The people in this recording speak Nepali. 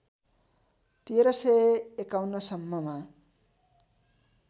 १३५१ सम्ममा